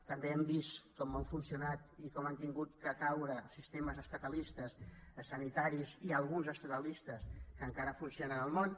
també hem vist com han funcionat i com han hagut de caure sistemes estatalistes sanitaris hi ha alguns estatalistes que encara funcionen al món